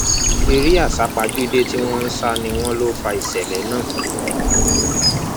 eré àsápajúdé tí wọn ń sá ni wọn lọ fa ìṣẹlẹ náà